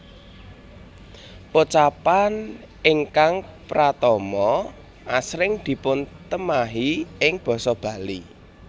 Pocapan ingkang pratama asring dipuntemahi ing basa Bali